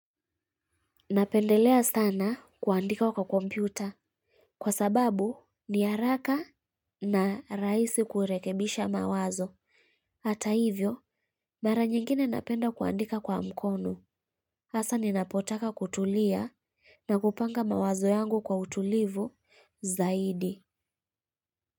Napendelea sana kuandika kwa kompyuta. Kwa sababu ni haraka na rahisi kurekebisha mawazo. Hata hivyo, mara nyingine napenda kuandika kwa mkono. Hasa ninapotaka kutulia na kupanga mawazo yangu kwa utulivu zaidi.